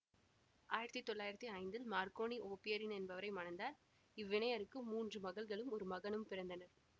ஆயிரத்தி தொள்ளாயிரத்தி ஐந்தில் மார்க்கோனி ஓபிரெயின் என்பவரை மணந்தார் இவ்விணையருக்கு மூன்று மகள்களும் ஒரு மகனும் பிறந்தனர்